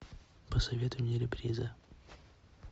посоветуй мне реприза